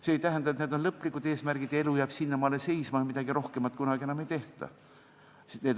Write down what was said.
See ei tähenda, et need on lõplikud eesmärgid, elu jääb sealtmaalt seisma ja midagi rohkemat kunagi enam ära ei tehta.